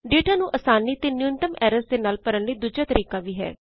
data ਨੂੰ ਆਸਾਨੀ ਤੇ ਨਿਊਨਤਮ ਐਰਰਸ ਦੇ ਨਾਲ ਭਰਨ ਲਈ ਦੂਜਾ ਤਰੀਕਾ ਵੀ ਹੈ